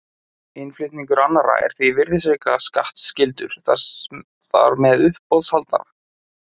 Innflutningur annarra er því virðisaukaskattskyldur þar með uppboðshaldara.